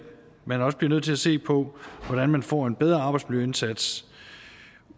man også bliver nødt til at se på hvordan man får en bedre arbejdsmiljøindsats